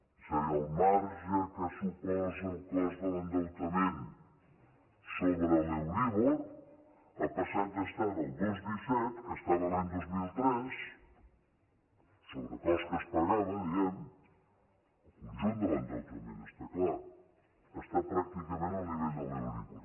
és a dir el marge que suposa el cost de l’endeutament sobre l’euríbor ha passat d’estar al dos coma disset que estava l’any dos mil tres sobre cost que es pagava diguem ne el conjunt de l’en deutament està clar a estar pràcticament al nivell de l’euríbor